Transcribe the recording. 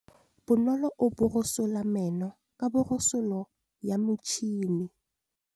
Bonolô o borosola meno ka borosolo ya motšhine.